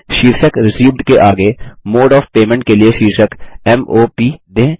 शीर्षक रिसीव्ड के आगे मोडे ओएफ पेमेंट के लिए शीर्षक m o प दें